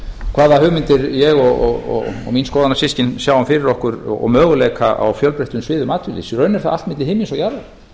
hvaða hugmyndir ég og mín skoðanasystkin sjáum fyrir okkur og möguleika á fjölbreyttum sviðum atvinnulífs í raun er þar allt milli himins og jarðar